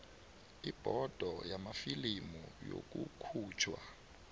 ibhodo yamafilimu nokukhutjhwa